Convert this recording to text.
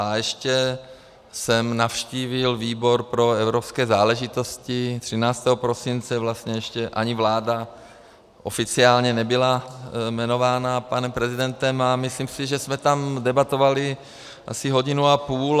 A ještě jsem navštívil výbor pro evropské záležitosti 13. prosince, vlastně ještě ani vláda oficiálně nebyla jmenována panem prezidentem, a myslím si, že jsme tam debatovali asi hodinu a půl.